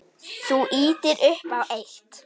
Þú ýtir upp á eitt.